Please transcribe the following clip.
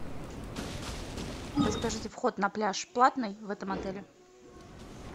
подскажите вход на пляж платный в этом отеле